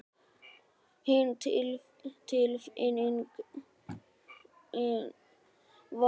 Hin tilfinningin var örvæntingin yfir að glata þeirri vel